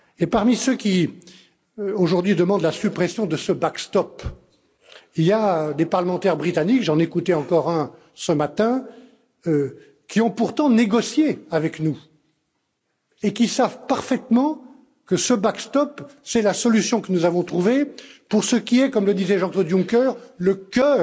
Parmi ceux qui, aujourd'hui, demandent la suppression de ce backstop il y a des parlementaires britanniques j'en écoutais encore un ce matin qui ont pourtant négocié avec nous et qui savent parfaitement que ce backstop est la solution que nous avons trouvée pour ce qui est comme le disait Jean Claude Juncker le cœur,